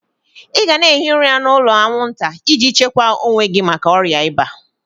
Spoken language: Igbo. Ị gana ehi ụra n'ụlọ aṅwụnta iji chekwa owe gi maka ọrịa iba!